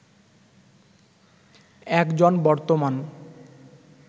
একজন বর্তমান